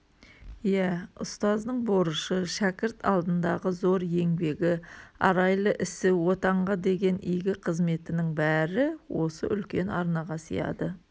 иә ұстаздың борышы шәкірт алдындағы зор еңбегі арайлы ісі отанға деген игі қызметінің бәрі осы үлкен арнаға сияды